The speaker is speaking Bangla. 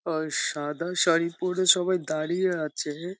আর সাদা শাড়ি পরে সবাই দাঁড়িয়ে আছে হে ।